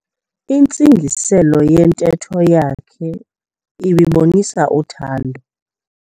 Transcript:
Intsingiselo yentetho yakhe ibibonisa uthando.